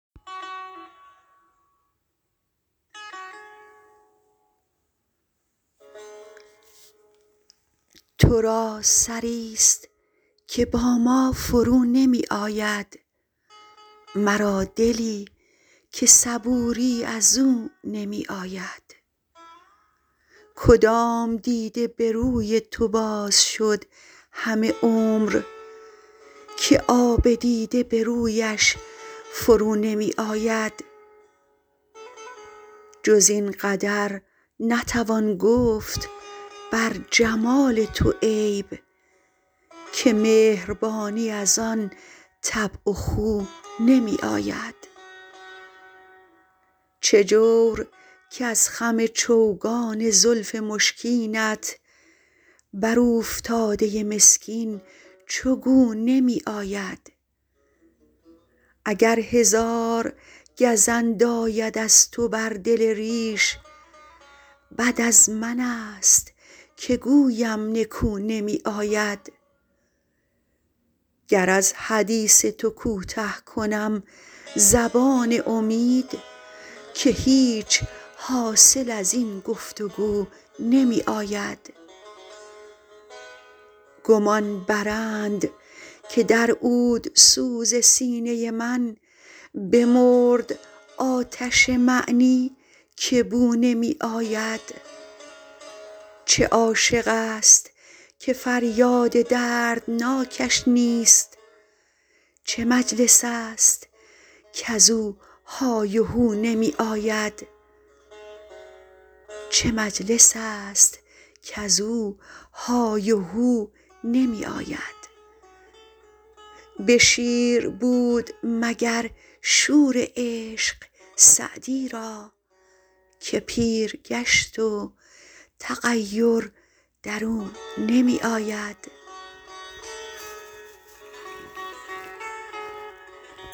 تو را سری ست که با ما فرو نمی آید مرا دلی که صبوری از او نمی آید کدام دیده به روی تو باز شد همه عمر که آب دیده به رویش فرو نمی آید جز این قدر نتوان گفت بر جمال تو عیب که مهربانی از آن طبع و خو نمی آید چه جور کز خم چوگان زلف مشکینت بر اوفتاده مسکین چو گو نمی آید اگر هزار گزند آید از تو بر دل ریش بد از من ست که گویم نکو نمی آید گر از حدیث تو کوته کنم زبان امید که هیچ حاصل از این گفت وگو نمی آید گمان برند که در عودسوز سینه من بمرد آتش معنی که بو نمی آید چه عاشق ست که فریاد دردناکش نیست چه مجلس ست کز او های و هو نمی آید به شیر بود مگر شور عشق سعدی را که پیر گشت و تغیر در او نمی آید